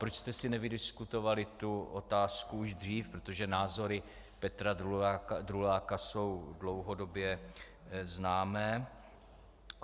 Proč jste si nevydiskutovali tu otázku už dřív, protože názory Petra Druláka jsou dlouhodobě známé?